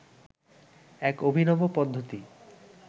এক অভিনব পদ্ধতি